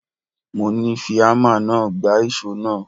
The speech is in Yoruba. Mo ní Fi ámà náà gbá ìṣó náà.!